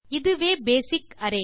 இதுவே basic array